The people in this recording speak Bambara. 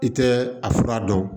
I tɛ a fura dɔn